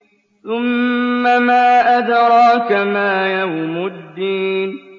ثُمَّ مَا أَدْرَاكَ مَا يَوْمُ الدِّينِ